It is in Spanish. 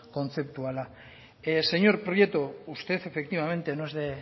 kontzeptuala señor prieto usted efectivamente no es de